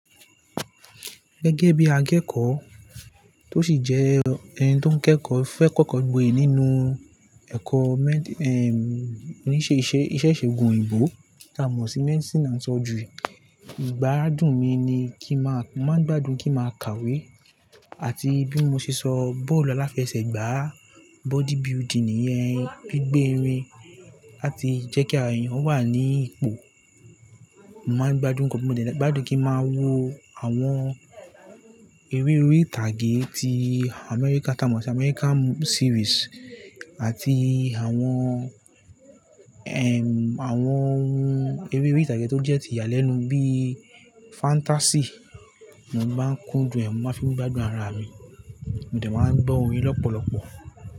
Gẹ́gẹ́ bí akẹ́kọ̀ọ́ tó sì jẹ́ ẹni tó ń kẹ́kọ̀ọ́ fẹ́ kọ́kọ́ gboyè nínú ẹ̀kọ́ méń-- ehn, oníṣèṣe, iṣẹ́ṣe gùn òyìnbó tí a mọ̀ sí Medicine and Surgery. Ìgbáradùn mi ni kí n má, máa ń gbádùn kí n máa kàwé àti bí mo ṣe sọ bọ́ọ̀lù aláfẹsẹ̀gbá, body building nìyẹn, gbígbé irin láti jẹ́ kí ara eeyàn wà ní ipò. Màá ń gbádùn gan, gbádùn kí n máa wo àwọn eré orí ìtàgé tí America, ta mọ̀ sí American series àti àwọn, ehn, àwọn eré orí ìtàgé tó jẹ́ ti ìyàlẹ́nu bí fantasy. Mo máa ń kúndùn, mo máa ń fi gbádùn ara mi, mo dẹ̀ máa ń gbọ́ orin lọ́pọ̀lọpọ̀